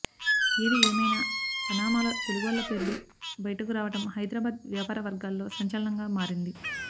ఏది ఏమైనా పనామాలో తెలుగోళ్ల పేర్లు బయటకురావటం హైదరాబాద్ వ్యాపారవర్గాల్లో సంచలనంగా మారింది